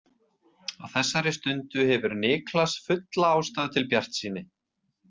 Á þessari stundu hefur Niklas fulla ástæðu til bjartsýni.